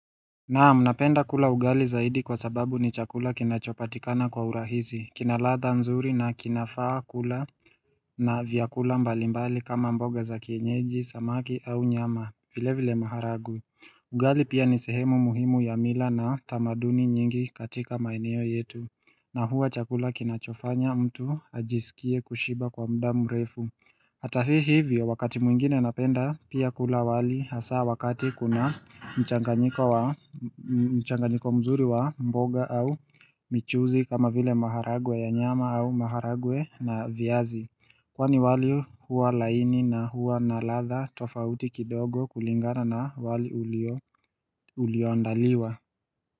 Naam, napenda kula ugali zaidi kwa sababu ni chakula kinachopatikana kwa urahisi, kinaladha nzuri na kinafaa kula na vyakula mbalimbali kama mboga za kienyeji, samaki au nyama, vile vile maharagwe. Ugali pia ni sehemu muhimu ya mila na tamaduni nyingi katika maeneo yetu. Na huwa chakula kinachofanya mtu ajisikie kushiba kwa muda mrefu. Hata hivyo wakati mwingine napenda pia kula wali hasa wakati kuna mchanganyiko mzuri wa mboga au michuzi kama vile maharagwe ya nyama au maharagwe na viazi. Kwani wali huwa laini na huwa na ladha tofauti kidogo kulingana na wali ulioandaliwa.